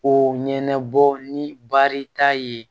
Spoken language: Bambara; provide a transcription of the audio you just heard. Ko ɲɛnabɔ ni baari t'a ye